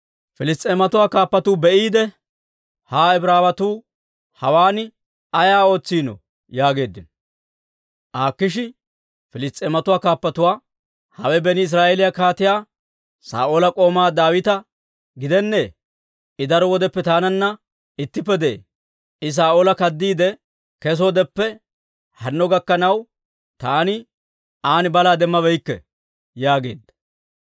Piliss's'eematuwaa kaappatuu be'iide, «Ha Ibraawetuu hawaan ay ootsiinoo?» yaageeddino. Akiishi Piliss's'eematuwaa kaappatuwaa, «Hawe beni Israa'eeliyaa Kaatiyaa Saa'oola k'oomaa Daawita gidennee? I daro wodeppe taananna ittippe de'ee; I Saa'oola kaddiide kesoodeppe hanno gakkanaw, taani an balaa demmabeykke» yaageedda.